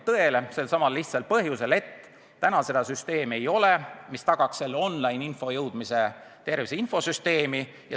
Seda sellelsamal lihtsal põhjusel, et täna ei ole süsteemi, mis tagaks on-line info jõudmise tervise infosüsteemi.